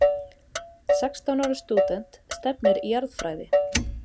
Sextán ára stúdent stefnir í jarðfræði